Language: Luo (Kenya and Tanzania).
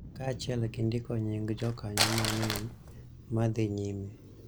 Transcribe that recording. Kaachiel gi ndiko nying� jokanyo mang�eny ma dhi nyime,